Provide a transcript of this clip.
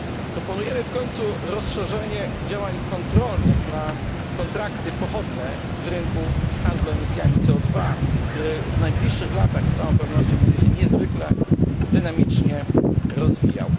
Proponujemy w końcu rozszerzenie działań kontrolnych na kontrakty pochodne z rynku handlu emisjami CO 2 który w najbliższych latach z całą pewnością będzie się niezwykle dynamicznie rozwijał.